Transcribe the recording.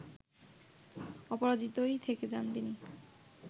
অপরাজিতই থেকে যান তিনি